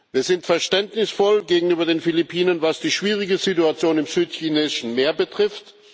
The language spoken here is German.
Wir sind verständnisvoll gegenüber den Philippinen, was die schwierige Situation im Südchinesischen Meer betrifft.